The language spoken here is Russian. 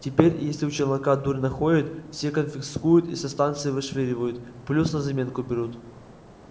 теперь если у челнока дурь находят все конфискуют и со станции вышвыривают плюс на заметку берут